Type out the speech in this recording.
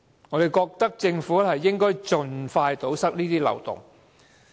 我認為政府應盡快堵塞這些漏洞。